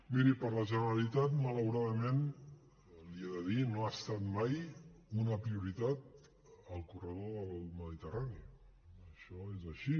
miri per a la generalitat malauradament l’hi he de dir no ha estat mai una prioritat el corredor del mediterrani això és així